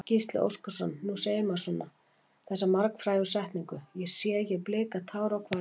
Gísli Óskarsson: Nú segir maður svona, þessa margfrægu setningu, sé ég blika tár á hvarmi?